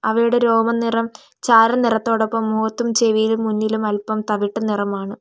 അവയുടെ രോമനിറം ചാരനിറത്തോടൊപ്പം മുഖത്തും ചെവിയിലും മുന്നിലും അല്പം തവിട്ടു നിറമാണ്.